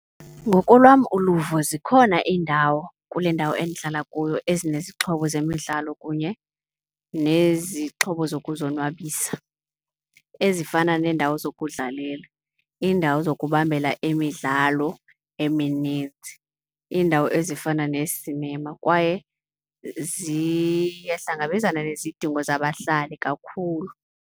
Ngokolwam uluvo zikhona iindawo kule ndawo endihlala kuyo ezinezixhobo zemidlalo kunye nezixhobo zokuzonwabisa ezifana neendawo zokudlalela, iindawo zokubambela emidlalo emininzi, iindawo ezifana neesinema. Kwaye ziyahlangabezana nezidingo zabahlali kakhulu.